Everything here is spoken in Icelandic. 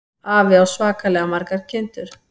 Afi á svakalega margar kindur.